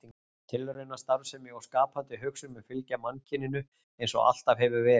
Tilraunastarfsemi og skapandi hugsun mun fylgja mannkyninu eins og alltaf hefur verið.